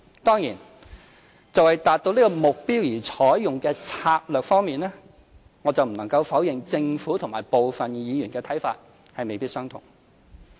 當然，就為達到這個目標而應採用的策略方面，我不能否認政府與部分議員的看法未必相同。